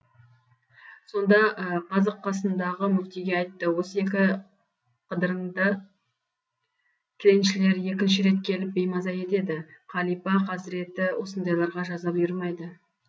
сонда қазы қасындағы мүфтиге айтты осы екі қыдырынды тіленшілер екінші рет келіп беймаза етеді қалипа қазіреті осындайларға жаза бұйырмайды